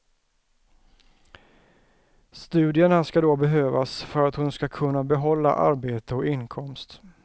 Studierna ska då behövas för att hon ska kunna behålla arbete och inkomst.